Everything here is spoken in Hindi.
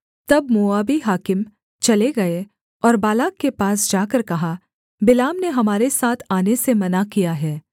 तब मोआबी हाकिम चले गए और बालाक के पास जाकर कहा बिलाम ने हमारे साथ आने से मना किया है